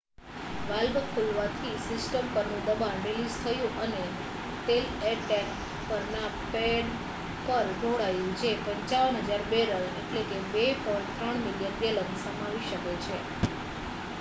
valve ખૂલવાથી system પરનું દબાણ રિલીઝ થયું અને તેલ એ ટૅંક પરના પૅડ પર ઢોળાયું જે 55,000 બૅરલ 2.3 મિલિયન ગૅલન સમાવી શકે છે